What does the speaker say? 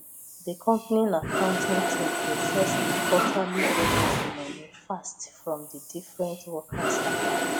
the company accounting team process the quarterly bonus money fast from different workers account